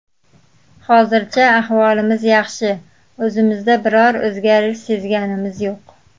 Hozircha ahvolimiz yaxshi, o‘zimizda biror o‘zgarish sezganimiz yo‘q.